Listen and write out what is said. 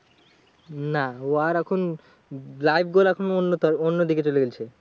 না ও আর এখন রাগ করে এখন অন্য তোরে অন্য দিকে চলে গেইলছে।